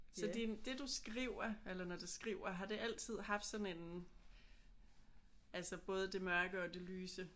Så din det du skriver eller når du skriver har det altid haft sådan en altså både det mørke og det lyse?